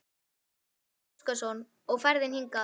Gísli Óskarsson: Og ferðin hingað?